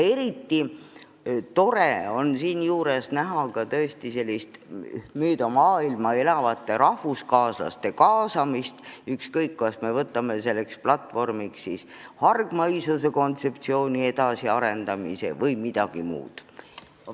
Eriti tore on seejuures näha ka meie maailmas laiali elavate rahvuskaaslaste kaasamist, võttes aluseks kas hargmaisuse kontseptsiooni edasiarendamise või midagi muud.